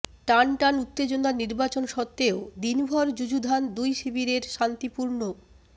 টানটান উত্তেজনার নির্বাচন সত্ত্বেও দিনভর যুযুধান দুই শিবিরের শান্তিপূর্ণ